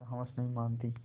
पर हवस नहीं मानती